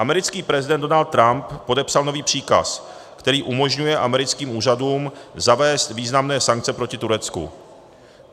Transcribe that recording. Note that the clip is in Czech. Americký prezident Donald Trump podepsal nový příkaz, který umožňuje americkým úřadům zavést významné sankce proti Turecku.